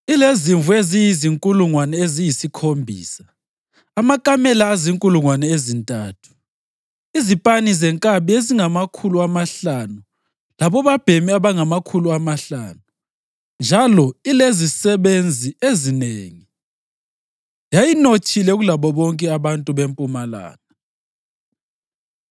ilezimvu eziyizinkulungwane eziyisikhombisa, amakamela azinkulungwane ezintathu, izipani zenkabi ezingamakhulu amahlanu labobabhemi abangamakhulu amahlanu, njalo ilezisebenzi ezinengi. Yayinothile kulabo bonke abantu beMpumalanga.